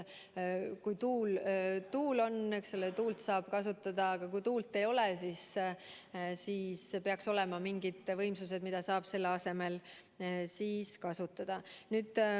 Kui tuult on, siis tuult saab kasutada, aga kui tuult ei ole, siis peaks olema mingid võimsused, mida saab selle asemel kasutada.